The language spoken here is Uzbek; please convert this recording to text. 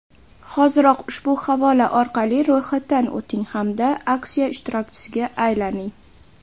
Hoziroq ushbu havola orqali ro‘yxatdan o‘ting hamda aksiya ishtirokchisiga aylaning!.